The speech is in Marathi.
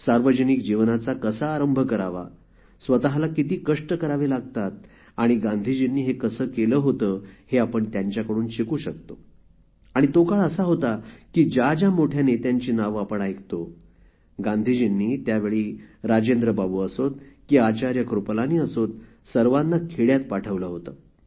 सार्वजनिक जीवनाचा कसा आरंभ करावा स्वत किती कष्ट करावे लागतात आणि गांधीजींनी हे कसे केले होते हे आपण त्यांच्याकडून शिकू शकतो आणि तो काळ असा होता की ज्या ज्या मोठ्या नेत्यांची नावे आपण ऐकतो गांधीजींनी त्यावेळी राजेंद्रबाबू असोत की आचार्य कृपलानी सर्वांना खेड्यात पाठवले होते